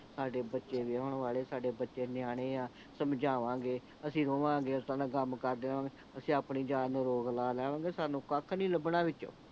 ਸਾਡੇ ਬੱਚੇ ਵਿਹਾਉਣ ਵਾਲੇ ਆ ਸਾਡੇ ਬੱਚੇ ਨਿਆਣੇ ਆ ਸਮਝਾਵਾਂਗੇ ਅਸੀਂ ਰੋਵਾਂਗੇ ਇਸਤਰਾਂ ਦੇ ਕਮ ਕਰਦੇ ਰਹਾਂਗੇ ਅਸੀਂ ਆਪਣੀ ਜਾਨ ਨੂੰ ਰੋਗ ਲਾ ਲੈਣੇ ਨੇ ਸਾਨੂੰ ਕੱਖ ਨਹੀਂ ਲੱਭਣਾ ਵਿੱਚੋਂ